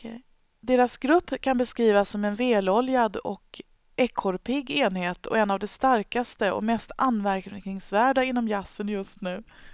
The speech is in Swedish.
Deras grupp kan beskrivas som en väloljad och ekorrpigg enhet och en av de starkaste och mest anmärkningsvärda inom jazzen just nu.